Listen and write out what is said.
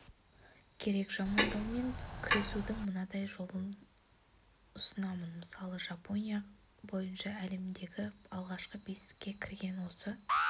керек жамандаумен күресудің мынадай жолын ұсынамын мысалы жапония бойынша әлемдегі алғашқы бестікке кірген осы